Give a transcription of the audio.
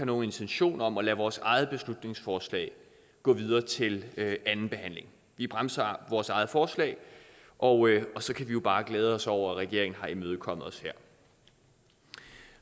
nogen intention om at lade vores eget beslutningsforslag gå videre til anden behandling vi bremser vores eget forslag og så kan vi jo bare glæde os over at regeringen har imødekommet os her